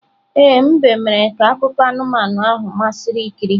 Ee, mbe mere ka akụkọ anụmanụ ahụ masịrị ikiri.